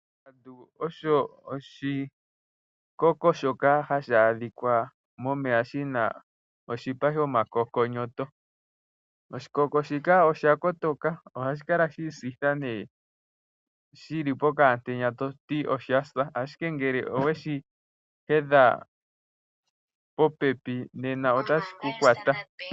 Ongandu oyo oshikoko shoka hashi adhika momeya shina oshipa shomakokonyoto. Oshikoko shika osha kotoka ohashi kala shiisitha nee shili pokaantenya toti oshasa ashike ngele oweshi hedha popepi nena otashi ku kwata.